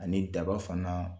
Ani daba fana